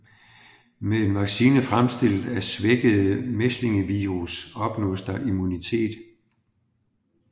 Med en vaccine fremstillet af svækkede mæslingevirus opnås der immunitet